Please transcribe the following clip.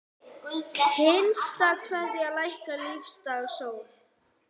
HINSTA KVEÐJA Lækkar lífdaga sól.